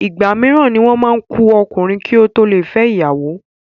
Ìgbà mííràn ni wọ́n ma ku ọkùnrin ki o to le fẹ ìyàwó.